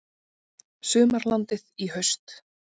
Sumarlandið í haust